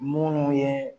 Munnu ye